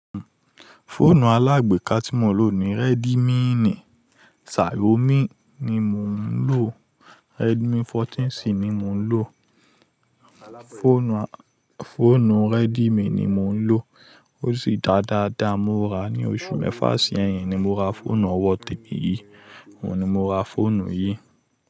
Fóònù alágbéka tí mò ń lò ni Redmi, Xiaomi ni mò ń lò, Redmi 14C ni mò ń lò. Fóònù Redmi ni mò ń lò, ó sì dà dáadáa. Mo rà á ní oṣù mẹ́fà sẹ́yìn ni mo ra fóònù ọwọ́ témi yí, òun ni mo ra fóònù yìí.